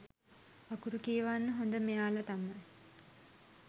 අකුරු කියවන්න හොඳ මෙයාල තමයි.